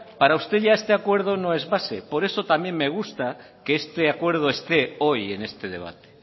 para usted ya este acuerdo ya no es base por eso también me gusta que este acuerdo esté hoy en este debate